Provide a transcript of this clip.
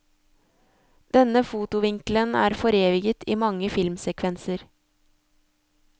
Denne fotovinkelen er foreviget i mange filmsekvenser.